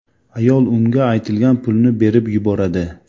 Ayol unga aytilgan pulni berib yuboradi.